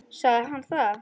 Sagði hann það?